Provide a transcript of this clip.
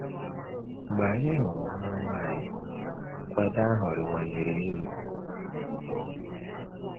Mgbe anyị hụrụ nwa nwa anyị, nkwado ahụ rịwanyere elu.